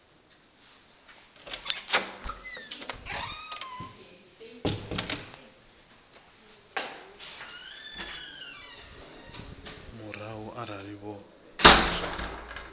murahu arali vho pfuluswa nga